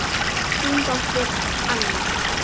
Þín dóttir, Anna.